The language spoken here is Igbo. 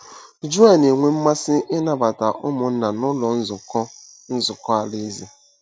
Joel na-enwe mmasị ịnabata ụmụnna n’Ụlọ Nzukọ Nzukọ Alaeze